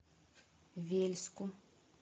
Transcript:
вельску